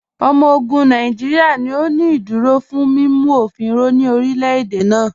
Ọmọ ogun Nàìjíríà ni ó ní ìdúró fún mímu ofìn mú ní orílẹ̀-èdè náà.